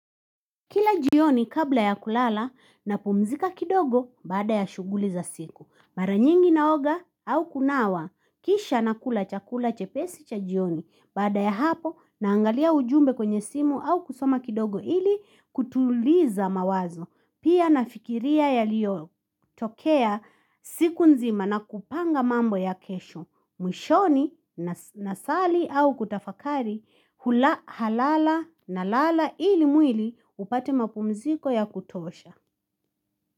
Kila jioni kabla ya kulala napumzika kidogo bada ya shuguli za siku. Mara nyingi naoga au kunawa kisha nakula chakula chepesi cha jioni baada ya hapo naangalia ujumbe kwenye simu au kusoma kidogo ili kutuliza mawazo. Pia nafikiria yaliyotokea siku nzima na kupanga mambo ya kesho. Mwishoni, nasali au kutafakari, hula halala nalala ili mwili upate mapumziko ya kutosha.